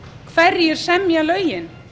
hverjir semja lögin